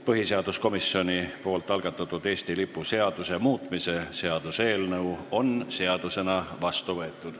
Põhiseaduskomisjoni algatatud Eesti lipu seaduse muutmise seaduse eelnõu on seadusena vastu võetud.